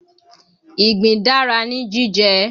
Ìgbín dára ní jíjẹ